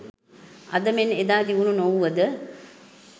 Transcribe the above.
අද මෙන් එදා දියුණු නොවුව ද